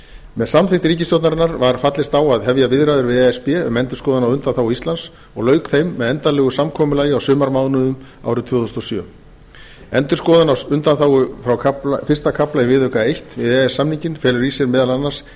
með samþykkt ríkisstjórnarinnar var fallist á að hefja viðræður við e s b um endurskoðun á undanþágu íslands og lauk þeim með endanlegu samkomulagi á sumarmánuðum árið tvö þúsund og sjö endurskoðun á undanþágum frá fyrsta kafla í viðauka eins við e e s samninginn felur í sér meðal annars